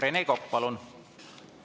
Rene Kokk, palun!